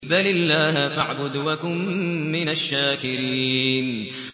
بَلِ اللَّهَ فَاعْبُدْ وَكُن مِّنَ الشَّاكِرِينَ